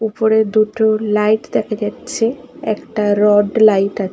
ওপরের দুটো লাইট দেখা যাচ্ছে একটা রড লাইট আ--